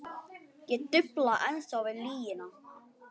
Ég dufla ennþá við lygina.